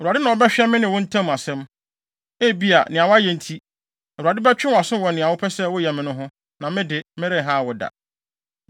Awurade na ɔbɛhwɛ me ne wo ntam asɛm. Ebia, nea woayɛ nti, Awurade bɛtwe wʼaso wɔ nea wopɛ sɛ woyɛ me no ho, na me de, merenhaw wo da.